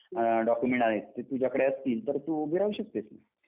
Documents आहेत ते तुझ्याकडे असतील तर तू उभी राहू शकतेस ना.